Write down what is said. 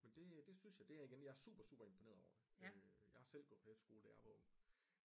Men det det synes jeg det er jeg igen jeg er super super imponeret over det øh jeg har selv gået på efterskole da jeg var ung